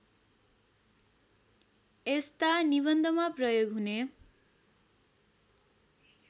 यस्ता निबन्धमा प्रयोग हुने